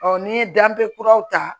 n'i ye danbe kuraw ta